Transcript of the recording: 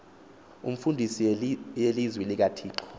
imfundiso yelizwi likathixo